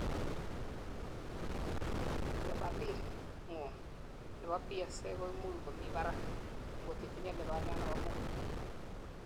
lebalit ngung nebo PSA koimuch komibarak angot itinyei lubaniat nebo muguik.